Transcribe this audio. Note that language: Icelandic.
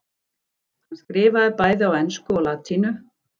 Hann skrifaði bæði á ensku og latínu.